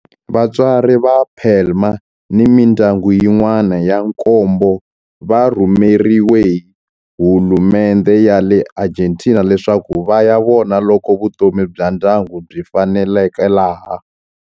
Vatswari va Palma ni mindyangu yin'wana ya nkombo va rhumeriwe hi hulumendhe ya le Argentina leswaku va ya vona loko vutomi bya ndyangu byi faneleka laha.